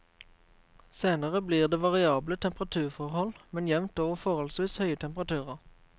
Senere blir det variable temperaturforhold, men jevnt over forholdsvis høye temperaturer.